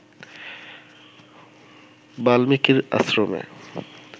বাল্মীকির আশ্রমে